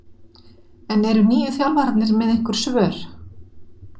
En eru nýju þjálfararnir með einhver svör?